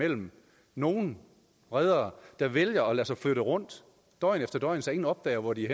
mellem nogle reddere der vælger at lade sig flytte rundt døgn efter døgn så ingen opdager hvor de er